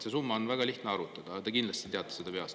See summa on väga lihtne arvutada, aga te kindlasti teate seda peast.